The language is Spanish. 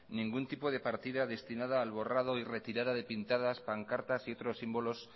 ningún tipo de partida destinada al borrado y retirada de pintadas pancartas y otros símbolos